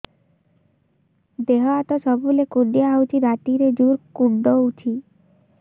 ଦେହ ହାତ ସବୁବେଳେ କୁଣ୍ଡିଆ ହଉଚି ରାତିରେ ଜୁର୍ କୁଣ୍ଡଉଚି